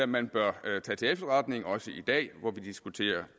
man bør tage til efterretning også i dag hvor vi diskuterer